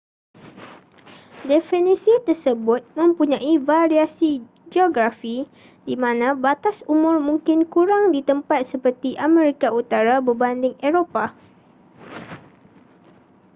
definisi tersebut mempunyai variasi geografi di mana batas umur mungkin kurang di tempat seperti amerika utara berbanding eropah